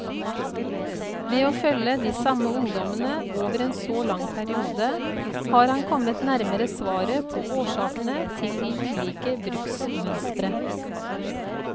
Ved å følge de samme ungdommene over en så lang periode, har han kommet nærmere svaret på årsakene til ulike bruksmønstre.